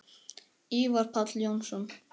Ívar Páll Jónsson